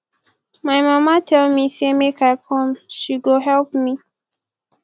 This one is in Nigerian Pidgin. my mama tell me say make i come say she go help me